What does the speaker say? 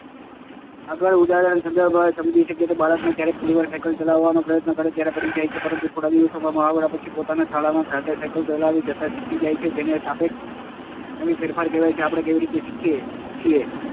આગળના ઉદાહરણના સંદર્ભમાં જ સમજીએ તો બાળકને જ્યારે પહેલી વાર સાયકલ ચલાવવાનો પ્રયત્ન કરે ત્યારે પડી જાય છે પરંતુ થોડા દિવસો ના મહાવરા પછી પોતાની શાળામાં જાતે સાયકલ ચલાવી જતાં શીખી જાય છે જેને સાપેક્ષ કાયમી ફેરફાર કહેવાય છે. આપણે કેવી રીતે શીખીએ છીએ